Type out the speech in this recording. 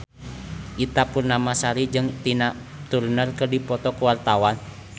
Ita Purnamasari jeung Tina Turner keur dipoto ku wartawan